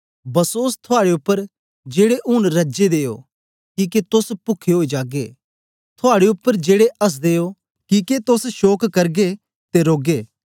बसोस थुआड़े उपर जेड़े ऊन रज्जे दे ओ किके तोस पुखे ओई जागेओ थुआड़े उपर जेड़े हँसदे हो किके तोस शोक करगे ते रौगे